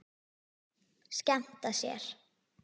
Skemmta sér.